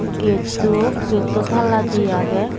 gatto gatto tala di age.